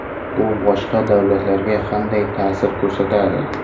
Bu boshqa davlatlarga qanday ta’sir ko‘rsatadi?